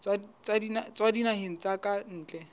tswa dinaheng tsa ka ntle